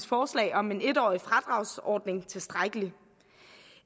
forslag om en en årig fradragsordning tilstrækkeligt